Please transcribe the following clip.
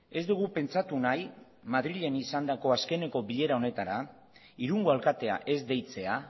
ez dugu pentsatu nahi madrilen izandako azken bilera honetara irungo alkatea ez deitzea